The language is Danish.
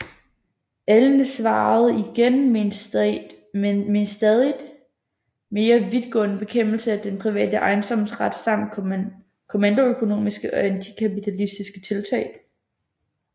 Allende svarede igen med en stadigt mere vidtgående bekæmpelse af den private ejendomsret samt kommandoøkonomiske og antikapitalistiske tiltag